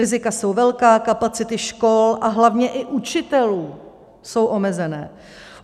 Rizika jsou velká, kapacity škol a hlavně i učitelů jsou omezené.